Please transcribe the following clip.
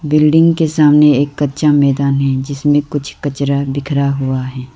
Building के सामने एक कच्चा मैदान है जिसमें कुछ कचड़ा बिखरा हुआ है।